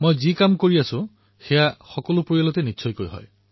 যিবোৰ কথা মই কওঁ সেইবোৰ পৰিয়ালৰ ভিতৰতো কোৱা হয়